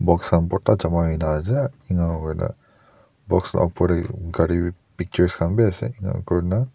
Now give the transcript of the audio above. boxa bhorta jama hoi na ase enoka hoina boxa upor teh gari be pictures khan be ase enoka kori na--